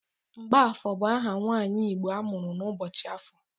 Mgbọafọ bụ aha nwaanyị Igbo amụrụ n'ụbọchị afọ.